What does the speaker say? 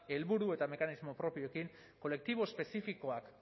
helburu eta mekanismo propioekin kolektibo espezifikoak